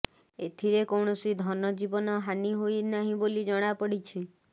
ଏଥିରେ କୌଣସି ଧନଜୀବନ ହାନି ହୋଇ ନାହିଁ ବୋଲି ଜଣାପଡ଼ିଛି